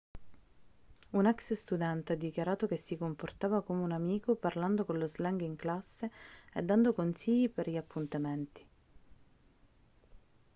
un ex-studente ha dichiarato che si comportava come un amico parlando con lo slang in classe e dando consigli per gli appuntamenti'